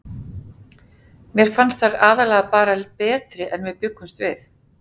Mér fannst þær aðallega bara betri en við bjuggumst við.